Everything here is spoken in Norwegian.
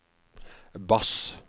bass